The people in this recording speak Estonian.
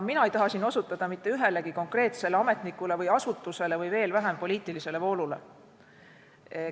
Mina ei taha siin osutada mitte ühelegi konkreetsele ametnikule või asutusele või veel vähem poliitilisele voolule.